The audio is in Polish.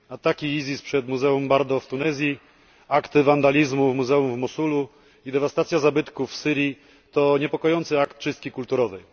Ataki ISIS przed Muzeum Bardo w Tunezji, akty wandalizmu w muzeum w Mosulu i dewastacja zabytków w Syrii to niepokojące akty czystki kulturowej.